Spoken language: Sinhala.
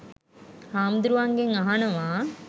හාමුදුරුවන්ගෙන් අහනව